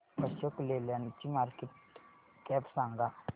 अशोक लेलँड ची market cap सांगा